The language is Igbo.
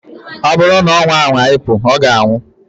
O buru na onwa anwa ipu, oga anwu.